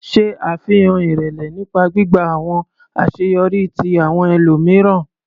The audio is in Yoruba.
Ṣe afihan irẹlẹ nipa gbigba awọn aṣeyọri ti awọn ẹlomiran.